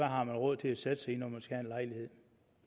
har råd til at sætte sig i når man skal have en lejlighed